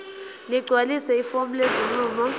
ligcwalise ifomu lesinqumo